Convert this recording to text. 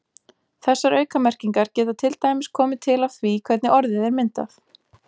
Þessar aukamerkingar geta til dæmis komið til af því hvernig orðið er myndað.